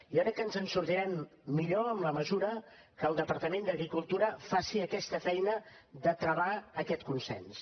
jo crec que ens en sortirem millor en la mesura que el departament d’agricultura faci aquesta feina de travar aquest consens